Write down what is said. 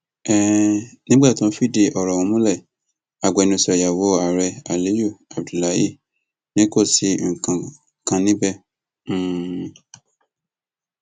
um nígbà tó ń fìdí ọrọ ọhún múlẹ agbẹnusọ ìyàwó ààrẹ aliyu abdullahi ni kò sí nǹkan kan níbẹ um